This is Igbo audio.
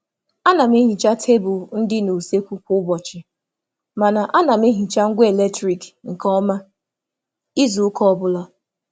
A na m asacha tebụl ụlọ nri kwa ụbọchị, ma na-emecha ngwa oriri n’ike n’ n’ izu obula